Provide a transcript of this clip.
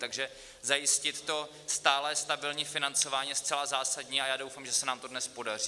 Takže zajistit to stálé stabilní financování je zcela zásadní a já doufám, že se nám to dnes podaří.